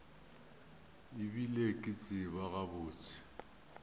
e bile ke tseba gabotse